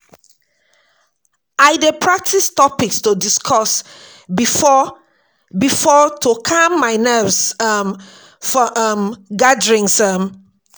I dey prepare topics to discuss before-before to calm my nerves um for um gatherings. um